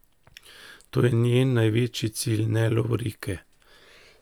To je njen največji cilj, ne lovorike.